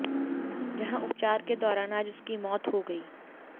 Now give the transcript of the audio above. जहां उपचार के दौरान आज उसकी मौत हो गई